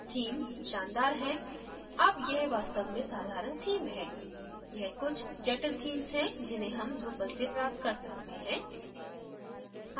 themes शानदार हैं अब यह वास्तव में साधारण theme है यह कुछ जटिल themes हैं जिन्हें हम drupal से प्राप्त कर सकते हैं